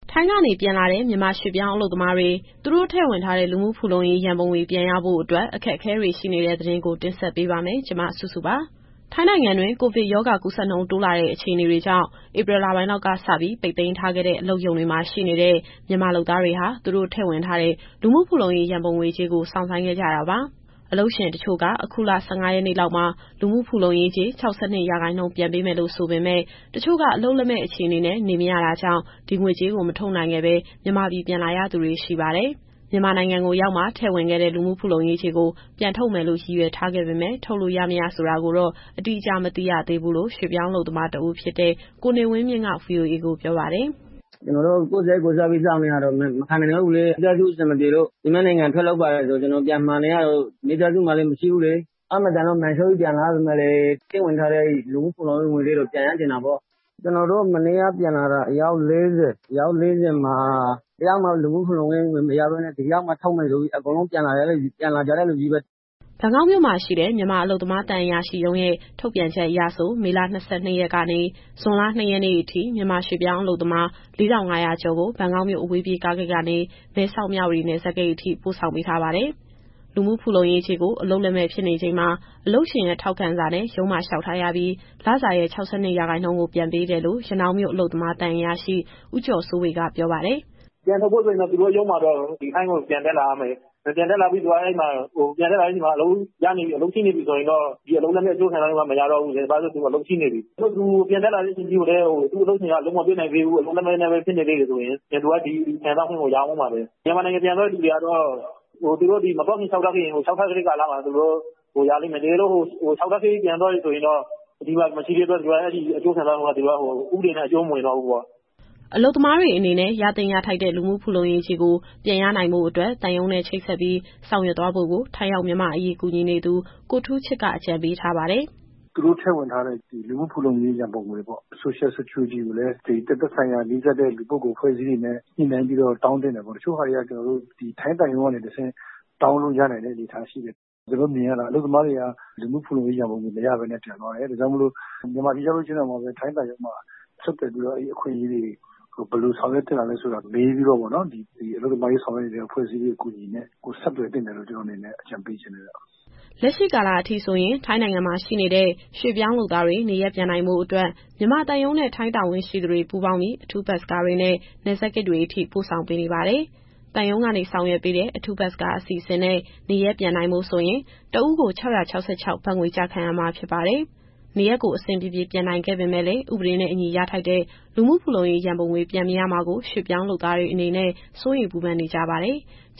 ထိုင်းကနေပြန်လာတဲ့ မြန်မာရွှေ့ပြောင်းအလုပ်သမားတွေ သူတို့ထည့်ဝင်ထားတဲ့ လူမှုဖူလုံရေးရန်ပုံငွေ ပြန်ရဖို့အတွက် အခက်အခဲတွေရှိနေတဲ့ သတင်းကို မစုစု တင်ဆက်ပေးပါမယ်။ ထိုင်းနိုင်ငံတွင်း ကိုဗစ်ရောဂါ ကူးစက်နှုန်းတိုးလာတဲ့ အခြေအနေတွေကြောင့် ဧပြီလပိုင်းလောက်ကစပြီး ပိတ်သိမ်းထားခဲ့တဲ့ အလုပ်ရုံတွေမှာရှိနေတဲ့ မြန်မာလုပ်သားတွေဟာ သူတို့ထည့်ဝင်ထားတဲ့ လူမှုဖူလုံရေးရန်ပုံငွေကြေးကို စောင့်ဆိုင်းခဲ့ကြတာပါ။ အလုပ်ရှင်တချို့က အခုလ ၁၅ရက်နေ့လောက်မှာ လူမှုဖူလုံရေးကြေး ၆၂ရာခိုင်နှုန်းပြန်ပေးမယ်လို့ ဆိုပေမယ့် ၊ တချို့က အလုပ်လက်မဲ့အခြေအနေနဲ့ နေမရတာကြောင့် ဒီငွေကြေးကိုမထုတ်နိုင်ခဲ့ပဲ မြန်မာပြည် ပြန်လာရသူတွေရှိပါတယ်။ မြန်မာနိုင်ငံကိုရောက်မှ ထည့်ဝင်ခဲ့တဲ့ လူမှုဖူလုံရေးကြေးကို ပြန်ထုတ်မယ်လို့ ရည်ရွယ်ထားပေမယ့် ထုတ်လို့ရ မရဆိုတာကိုတော့ အတိအကျမသိသေးဘူးလို့ ရွှေ့ပြောင်းအလုပ်သမားတဦးဖြစ်တဲ့ ကိုနေဝင်းမြင့်က VOA ကိုပြောပါတယ်။ “ကျနော်တို့ ကိုယ့်စရိတ် ကိုယ်စားပြီးစောင့်နေရတာ မခံနိုင်တော့ဘူးလေ။ မိသားစုအဆင်မပြေလို့ သူများနိုင်ငံ ထွက်လုပ်ပါတယ်ဆို ကျနော်ကပြန်မှာနေရတော့ မိသားစုမှာလည်း မရှိဘူးလေ။ အားမသန်လို့ မာန်လျှော့ပြီးပြန်လာရပေမယ့်လည်း ထည့်ဝင်ထားတဲ့ အဲဒီလူမှုဖူလုံရေး ရန်ပုံငွေလေးတော့ ပြန်ရချင်တာပေါ့ဗျာ။ ကျနော်တို့ မနေ့ကပြန်လာတဲ့ အယောက် ၄၀မှာ တယောက်မှ လူမှုဖူလုံရေးငွေမရဘဲနဲ့ ဒီရောက်မှထုတ်မယ်ဆိုပြီး ပြန်လာကြတဲ့သူချည်းပဲ။” ဘန်ကောက်မြို့မှာရှိတဲ့ မြန်မာအလုပ်သမားသံအရာရှိရုံးရဲ့ ထုတ်ပြန်ချက်အရဆို မေလ ၂၂ရက်ကနေ ဇွန်လ ၂ရက်နေ့အထိ မြန်မာရွှေ့ပြောင်းအလုပ်သမား ၄,၅၀၀ ကျော်ကို ဘန်ကောက်မြို့ အဝေးပြေးကားဂိတ်ကနေ မဲဆောက်-မြဝတီနယ်စပ်ဂိတ်အထိ ပို့ဆောင်ပေးထားပါတယ်။ လူမှုဖူလုံရေးကြေးကို အလုပ်လက်မဲ့ဖြစ်နေချိန်မှာ အလုပ်ရှင်ရဲ့ထောက်ခံစာနဲ့ ရုံးမှာလျှောက်ထားရပြီး လစာရဲ့ ၆၂ရာခိုင်နှုန်းကို ပြန်ပေးတယ်လို့ ရနောင်းမြို့ အလုပ်သမားသံအရာရှိ ဦးကျော်စိုးဝေက ပြောပါတယ်။ “ပြန်ထုတ်ဖို့ဆိုရင်တော့ ဒီထိုင်းကိုပြန်တက်လာရမယ်။ ပြန်တက်လာတဲ့အချိန်မှာ အလုပ်ရှိနေပြီ ဆိုရင်တော့ ဒီအလုပ်လက်မဲ့အကျိုးခံစားခွင့်က မရတော့ဘူး။ တကယ်လို့သူပြန်တက်လာတဲ့အချိန်ထိ သူ့အလုပ်ရှင်က အလုပ်မပေးနိုင်သေးဘူး၊ အလုပ်လက်မဲ့ဖြစ်နေသေးတယ်ဆိုရင် သူက ဒီခံစားခွင့်ကိုရမယ်။ မြန်မာနိုင်ငံပြန်သွားတဲ့သူတွေကတော့ သူတို့မသွားခင်လျှောက်ထားခဲ့ရင် လျှောက်ထားခဲ့တဲ့ကာလမှာ ရလိမ့်မယ်။ တကယ်လို့ ပြန်သွားတယ်ဆိုရင်တော့ အဲဒီအကျိုးခံစားခွင့်က ဥပဒေနဲ့ အကျုံးမဝင်တော့ဘူးပေါ့။” အလုပ်သမားတွေအနေနဲ့ ရသင့်ရထိုက်တဲ့ လူမှုဖူလုံရေးကြေးကို ပြန်ရနိုင်ဖို့အတွက် သံရုံးနဲ့ ချိတ်ဆက်ပြီး ဆောင်ရွက်သွားဖို့ကို ထိုင်းရောက်မြန်မာ့အရေးကူညီနေသူ ကိုထူးချစ်က အကြံပေးထားပါတယ်။ “သူတို့ထည့်ဝင်ထားတဲ့ လူမှုဖူလုံရေးရန်ပုံငွေပေါ့။ Social Security ကိုလည်း သက်ဆိုင်ရာနီးစပ်တဲ့ လူပုဂ္ဂိုလ်အဖွဲ့အစည်းတွေနဲ့ ညှိနှိုင်းပြီးတော့ တောင်းသင့်တယ်ပေါ့။ တချို့ဟာတွေက ထိုင်းသံရုံးကနေ တဆင့် တောင်းလို့ရနိုင်တဲ့အနေအထားရှိတယ်။ ကျနော်တို့မြင်ရတာက အလုပ်သမားတွေက လူမှုဖူလုံရေးရန်ပုံငွေ မရဘဲနဲ့ ပြန်သွားတယ်။ ဒါကြောင့်မို့လို့ မြန်မာပြည် ပြန်ရောက်ရင်တောင် ထိုင်းသံရုံးမှာ ဆက်သွယ်ပြီးတော့ အဲဒီအခွင့်အရေးတွေကို ဘယ်လိုဆောင်ရွက်သင့်လဲဆိုတာ မေးပြီးတော့ ဒီအလုပ်သမားရေးဆောင်ရွက်နေတဲ့ အဖွဲ့အစည်းတွေ အကူအညီနဲ့ ဆက်သွယ်သင့်တယ်လို့ ကျနော့်အနေနဲ့အကြံပေးချင်တယ်ဗျ။” လက်ရှိကာလအထိဆိုရင် ထိုင်းနိုင်ငံမှာရှိနေတဲ့ ရွှေ့ပြောင်းလုပ်သားတွေ နေရပ်ပြန်နိုင်ဖို့အတွက် မြန်မာသံရုံးနဲ့ ထိုင်းတာဝန်ရှိသူတွေ ပူးပေါင်းပြီး အထူးဘတ်စ်ကားတွေနဲ့ နယ်စပ်ဂိတ်တွေအထိ ပို့ဆောင်ပေးနေပါတယ်။သံရုံးကနေဆောင်ရွက်ပေးတဲ့ အထူးဘတ်စ်ကားအစီအစဉ်နဲ့ နေရပ်ပြန်နိုင်ဖို့ဆိုရင် တဦးကို ၆၆၆ ဘတ်ငွေကျခံရမှာ ဖြစ်ပါတယ်။ နေရပ်ကိုအဆင်ပြေပြေ ပြန်နိုင်ခဲ့ပေမယ့်လည်း ဥပဒေနဲ့အညီရထိုက်တဲ့ လူမှုဖူလုံရေးရန်ပုံငွေ ပြန်မရမှာကို ရွှေ့ပြောင်းလုပ်သားတွေအနေနဲ့ စိုးရိမ်ပူပင်နေကြပါတယ်။